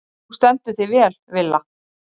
Þú stendur þig vel, Villa!